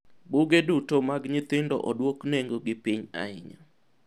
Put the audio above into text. buge duto mag nyithindo odwok nengo gi piny ahinya